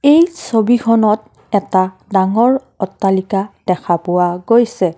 এই ছবিখনত এটা ডাঙৰ অট্টালিকা দেখা পোৱা গৈছে।